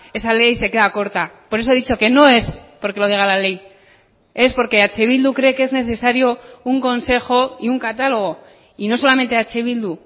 esa ley se queda corta por eso he dicho que no es porque lo diga la ley es porque eh bildu cree que es necesario un consejo y un catálogo y no solamente eh bildu